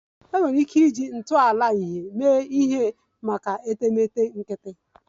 Enwere ike iji ntọala light mee ihe maka etemeete nkịtị